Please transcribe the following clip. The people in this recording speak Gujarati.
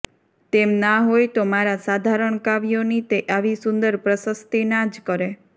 તેમ ના હોય તો મારા સાધારણ કાવ્યોની તે આવી સુંદર પ્રશસ્તિ ના જ કરે